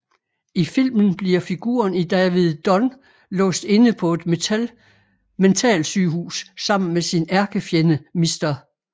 I filmen bliver figuren David Dunn låst inde på et mentalsygehus sammen med sin ærkefjende Mr